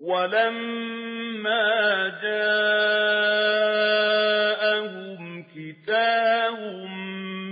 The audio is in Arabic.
وَلَمَّا جَاءَهُمْ كِتَابٌ